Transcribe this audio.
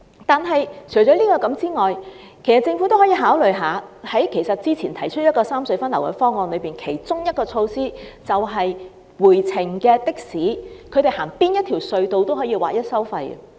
但除此以外，政府也可以考慮之前提出的三隧分流方案中的一項措施，便是回程的士不管使用哪條隧道也劃一收費。